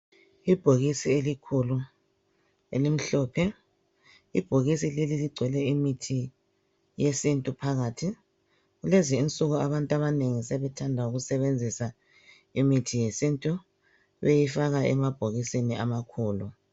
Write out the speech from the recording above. Ibhokisi elikhulu elimhlophe, ibhokisi leli ligcwele imithi yesintu phakathi. Kulezi insuku abantu abanengi sethanda ukusebenzisa imithi yesintu beyifaka emabhokisini amakhulu.